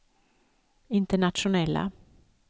internationella